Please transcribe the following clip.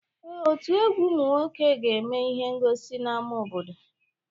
Ee, ọtú egwu ụmụ nwoke ga-eme ihe ngọsi n'ámá obodo.